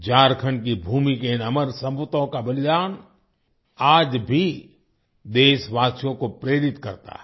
झारखंड की भूमि के इन अमर सपूतों का बलिदान आज भी देशवासियों को प्रेरित करता है